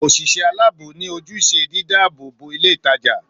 Òṣìṣẹ́ aláàbò ni ojúṣe dídá àbò bo ilé ìtajà